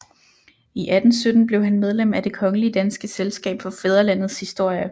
I 1817 blev han medlem af Det kongelige danske Selskab for Fædrelandets Historie